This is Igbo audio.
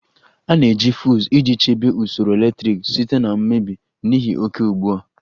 A na-eji fuuz iji chebe usoro eletriki site na mmebi n'ihi oke ugbu a